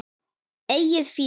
Eigið fé